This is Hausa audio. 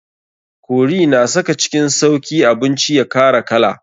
Curry na saka cikin sauki abinci ya kara kala.